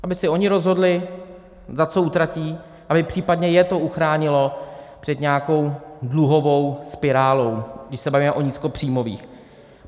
Aby si oni rozhodli, za co utratí, aby případně je to uchránilo před nějakou dluhovou spirálou, když se bavíme o nízkopříjmových.